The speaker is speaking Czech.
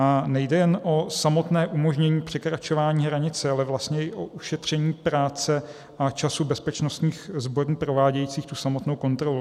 A nejde jen o samotné umožnění překračování hranice, ale vlastně i o ušetření práce a času bezpečnostních sborů provádějících tu samotnou kontrolu.